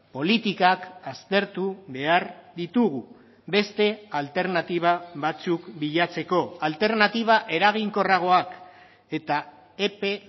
politikak aztertu behar ditugu beste alternatiba batzuk bilatzeko alternatiba eraginkorragoak eta epe